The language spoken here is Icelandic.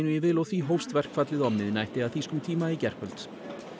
í vil og því hófst verkfallið á miðnætti að þýskum tíma í gærkvöld